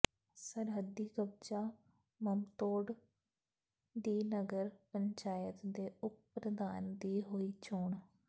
ਸਰਹੱਦੀ ਕਸਬਾ ਮਮਦੋਟ ਦੀ ਨਗਰ ਪੰਚਾਇਤ ਦੇ ਉੱਪ ਪ੍ਰਧਾਨ ਦੀ ਹੋਈ ਚੋਣ